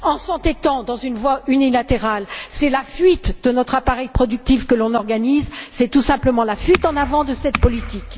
En nous entêtant dans une voie unilatérale, c'est la fuite de notre appareil productif que nous organisons. C'est tout simplement la fuite en avant de cette politique.